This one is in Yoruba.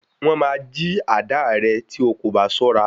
Wọ́n máa jí àdáà rẹ tí o kò bá ṣọ́ra.